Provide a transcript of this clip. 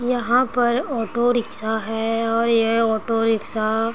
यहां पर auto rickshaw है और यह ऑटो रिक्शा --